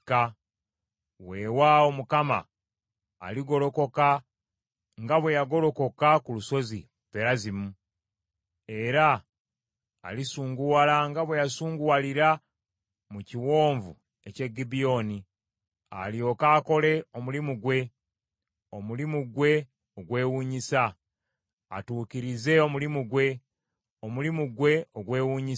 Weewaawo Mukama aligolokoka nga bwe yagolokoka ku Lusozi Perazimu, era alisunguwala nga bwe yasunguwalira mu Kiwonvu eky’e Gibyoni, alyoke akole omulimu gwe, omulimu gwe ogwewuunyisa, atuukirize omulimu gwe, omulimu gwe ogwewuunyisa.